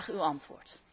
Graag uw antwoord.